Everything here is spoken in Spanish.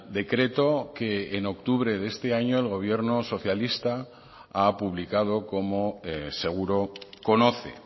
decreto que en octubre de este año el gobierno socialista ha publicado como seguro conoce